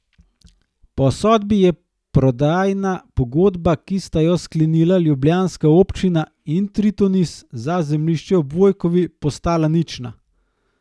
Po sodbi je prodajna pogodba, ki sta jo sklenila ljubljanska občina in Tritonis za zemljišče ob Vojkovi, postala nična.